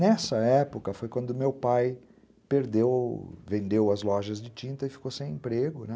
Nessa época foi quando meu pai perdeu, vendeu as lojas de tinta e ficou sem emprego, né?